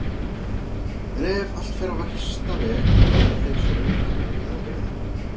En ef allt fer á versta veg láta þeir sér örugglega nægja að hirða hann.